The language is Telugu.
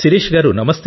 శిరీష గారూ